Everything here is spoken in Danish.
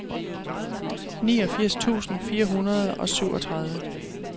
niogfirs tusind fire hundrede og syvogtredive